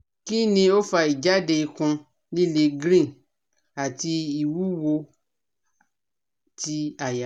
Kini o fa ijade ikun lile green ati iwuwo ti aya?